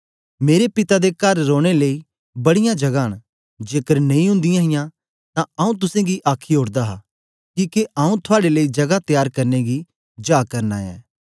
मेरे पिता दे कर रौने लेई बड़ीयां जगां न जेकर नेई ओदीयां हां तां आऊँ तुसेंगी आखी ओड़दा हा किके आऊँ थुआड़े लेई जगा त्यार करने गी जा करना ऐं